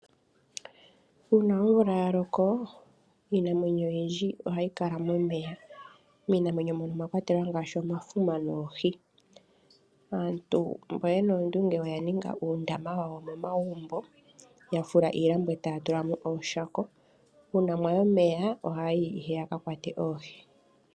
Uuna omvula ya loko iinamwenyo oyindji ohayi kala momeya, miinamwenyo mbyono omwa kwatelwa ngaashi omafuma noohi. Aantu mbono yena oondunge oya ninga uundama wawo momagumbo yafula iilambo etaya tula mo ooshako. Uuna mwayi ohayi ihe yaka kwate oohi.